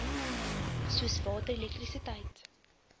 soos water elektrisiteit